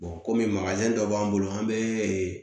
kɔmi dɔ b'an bolo an bɛ